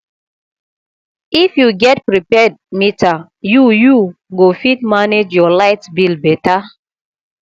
if you get prepaid meter you you go fit manage your light bill better